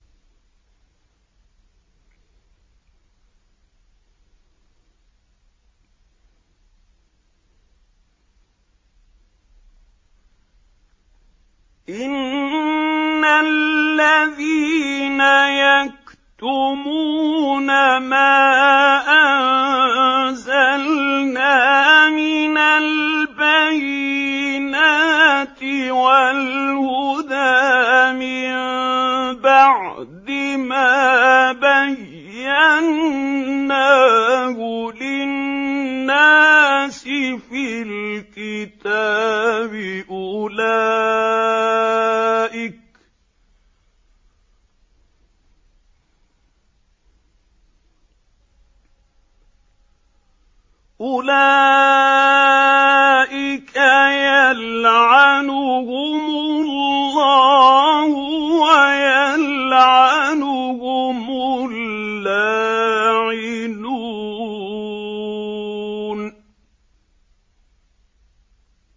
إِنَّ الَّذِينَ يَكْتُمُونَ مَا أَنزَلْنَا مِنَ الْبَيِّنَاتِ وَالْهُدَىٰ مِن بَعْدِ مَا بَيَّنَّاهُ لِلنَّاسِ فِي الْكِتَابِ ۙ أُولَٰئِكَ يَلْعَنُهُمُ اللَّهُ وَيَلْعَنُهُمُ اللَّاعِنُونَ